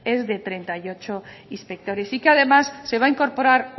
es de treinta y ocho inspectores y que además se va a incorporar